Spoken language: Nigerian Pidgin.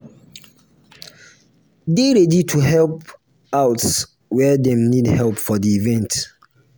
de ready to help out where dem need help for di event